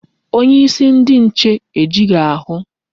Onyeisi ndi nche ejighị ahụ.